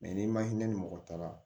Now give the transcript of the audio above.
ni ma hinɛ ni mɔgɔ taara